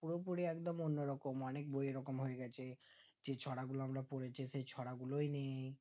পুরোপুরি একদম অন্য রকম অনিক বই এরকম হয়ে গেছে যে ছড়া গুলো আমরা পড়েছি সেই ছড়া গুলোই নেই